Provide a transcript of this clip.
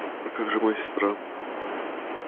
а как же моя сестра